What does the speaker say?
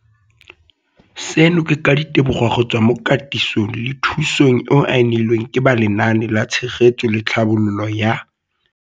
Seno ke ka ditebogo go tswa mo katisong le thu song eo a e neilweng ke ba Lenaane la Tshegetso le Tlhabololo ya.